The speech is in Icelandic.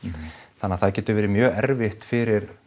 þannig að það getur verið mjög erfitt fyrir